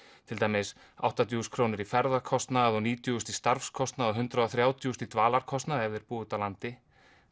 til dæmis áttatíu þúsund krónur í ferðakostnað og níutíu þúsund í starfskostnað og hundrað og þrjátíu þúsund í dvalarkostnað ef þeir búa úti á landi